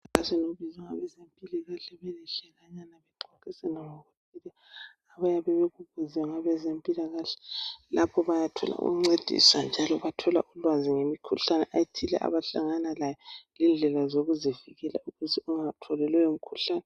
ngabezimpilakahle bame bexoxisanana ngalokhu abayake bekubuze ngabazempilakahle lapha bayathola ukuncediswa njalo bathola ulwazi ngemikhuhlane ethile abahlangana layo lendlela zokuzivikela ukuthi ungatholi leyo mkhuhlane